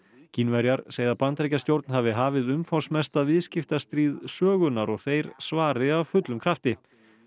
Kínverjar segja að Bandaríkjastjórn hafi hafið umfangsmesta viðskiptastríð sögunnar og þeir svari af fullum krafti